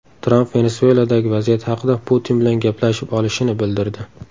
Tramp Venesueladagi vaziyat haqida Putin bilan gaplashib olishini bildirdi.